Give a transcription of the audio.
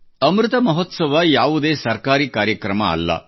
ಅಮೃತ ಮಹೋತ್ಸವ ಯಾವುದೇ ಸರ್ಕಾರಿ ಕಾರ್ಯಕ್ರಮ ಅಲ್ಲ